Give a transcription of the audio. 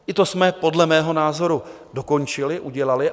I to jsme podle mého názoru dokončili, udělali.